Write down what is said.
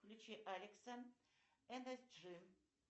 включи алекса энерджи